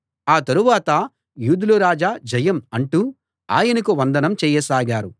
ఆ తరువాత యూదుల రాజా జయం అంటూ ఆయనకు వందనం చేయసాగారు